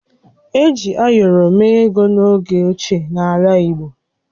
Eji ayọrọ mee ego n’oge ochie n’ala Igbo